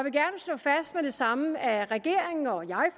og det samme at regeringen og jeg